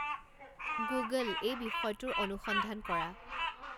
Google এই বিষয়টোৰ অনুসন্ধান কৰা